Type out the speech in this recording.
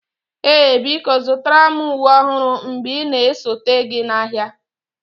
Ee biko zụtara m uwe ọhụrụ mgbe ị na-esote gị n'ahịa